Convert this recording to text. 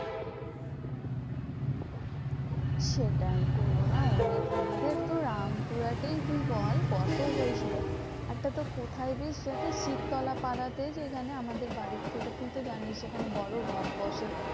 সেটাই corona অনেক আমাদের তোর রামপুরহাটেই তুই বল কত হয়েছিল? একটা তো কোথায় বেশ শিবতলা পাড়াতে সেখানে আমাদের বাড়ির থেকে তুই তো জানিস্ যেখানে বড় রথ বসে।